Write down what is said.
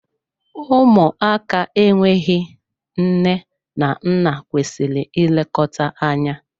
Ụmụaka enweghị nne na nna kwesịrị ị lekọta anya.